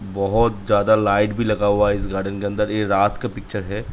बोहोत ज्यादा लाइट भी लगा हुआ है इस गार्डन के अंदर ये रात का पिक्‍चर है ।